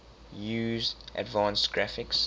use advanced graphics